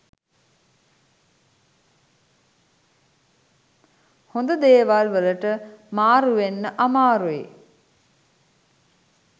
හොඳ දේවල් වලට මාරුවෙන්න අමාරුයි.